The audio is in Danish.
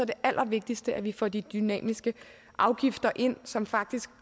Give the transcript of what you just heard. det allervigtigste at vi får de dynamiske afgifter ind som faktisk